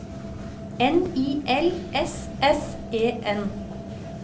N I L S S E N